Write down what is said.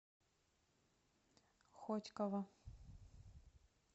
хотьково